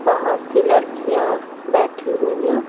बहोत सी लड़कियाँ बैठी हुई है।